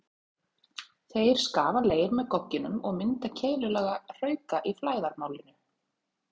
Þeir skafa leir með gogginum og mynda keilulaga hrauka í flæðarmálinu.